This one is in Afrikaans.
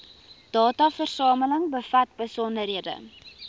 dataversameling bevat besonderhede